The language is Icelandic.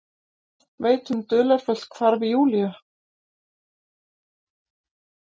Veit um dularfullt hvarf Júlíu.